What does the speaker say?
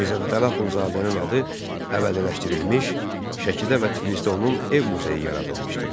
Mirzə Fətəli Axundzadənin adı əbədiləşdirilmiş, Şəkidə və Tiflisdə onun ev muzeyi yaradılmışdır.